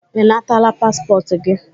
Ị nataala paspọtụ gị?